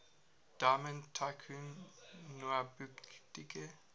diamond tycoon nwabudike